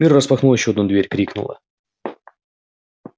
мирра распахнула ещё одну дверь крикнула